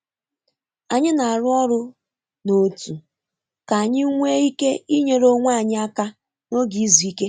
Anyị na-arụ ọrụ n’òtù ka anyị nwee ike inyere onwe anyị aka n’oge izu ike.